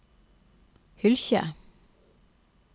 Hylkje